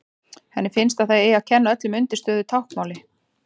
Henni finnst að það eigi að kenna öllum undirstöðu í táknmáli.